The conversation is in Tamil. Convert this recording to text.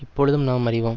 இப்பொழுதும் நாம் அறிவோம்